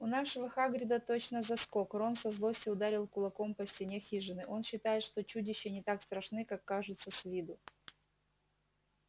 у нашего хагрида точно заскок рон со злости ударил кулаком по стене хижины он считает что чудища не так страшны как кажутся с виду